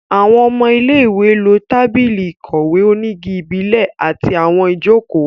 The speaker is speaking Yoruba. Àwọn ọmọ ilé-ìwé lo tábìlì ìkọ̀wé onígi ìbílẹ̀ àti àwọn ìjókòó